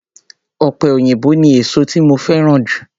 Ọ̀pẹ òyìnbó ni èsó tí mo fẹ́ràn jù.